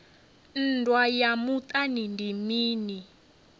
nndwa ya muṱani ndi mini